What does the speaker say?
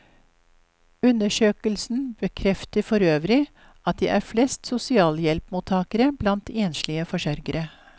Undersøkelsen bekrefter forøvrig at det er flest sosialhjelpsmottagere blant enslige forsørgere.